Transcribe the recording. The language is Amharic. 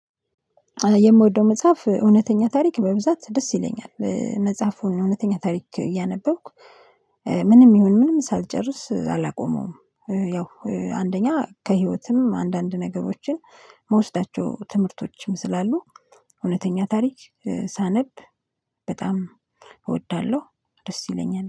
የምወደው መጽሐፍ እውነተኛ ታሪክ በብዛት ደስ ይለኛል። መጽሐፉን እውነተኛ ታሪክ እያነበብኩ ምንም ይሁን ምንም ሳልጨርስ አላቆመውም። ያው አንደኛ ከህይወትም አንዳንድ ነገሮችን መውሰዳቸው ትምህርቶችም ስላሉ እውነተኛ ታሪክ ሳነብ በጣም እወዳለሁ፤ ደስ ይለኛል።